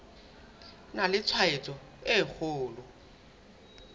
na le tshwaetso e kgolo